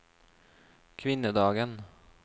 kvinnedagen